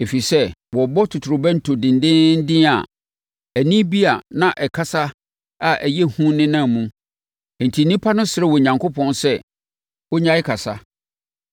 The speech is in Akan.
Ɛfiri sɛ, na wɔrebɔ totorobɛnto dendeenden a ɛnne bi a ɛreka kasa a ɛyɛ hu nenam mu, enti nnipa no srɛɛ Onyankopɔn sɛ ɔnnyae kasa,